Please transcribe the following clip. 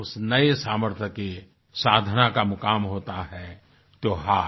उस नये सामर्थ्य के साधना का मुकाम होता है त्योहार